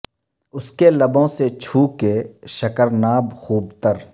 اس کے لبوں سے چھو کے شکر ناب خوب تر